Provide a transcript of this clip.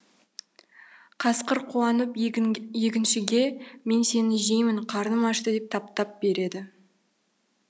қасқыр қуанып егіншіге мен сені жеймін қарным ашты деп тап тап береді